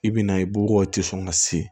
I bina ye bɔgɔ ti sɔn ka se